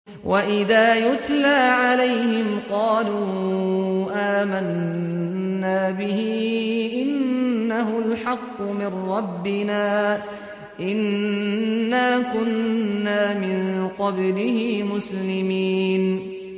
وَإِذَا يُتْلَىٰ عَلَيْهِمْ قَالُوا آمَنَّا بِهِ إِنَّهُ الْحَقُّ مِن رَّبِّنَا إِنَّا كُنَّا مِن قَبْلِهِ مُسْلِمِينَ